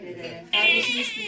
Qardaşımız bilir.